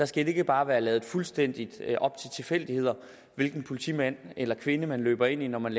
skal ikke bare være ladt fuldstændig op til tilfældigheder hvilken politimand eller kvinde man løber ind i når man